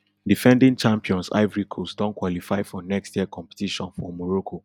defending champions ivory coast don qualify for next year competition for morocco